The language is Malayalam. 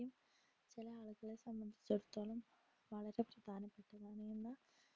ചെല ആളുകളെ സംബന്ധിച്ചിടത്തോളം വളരെ പ്രധാനപെട്ടതാണെന്ന